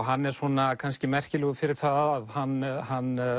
hann er kannski merkilegur fyrir það að hann hann